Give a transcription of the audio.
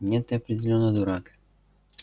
нет ты определённо дурак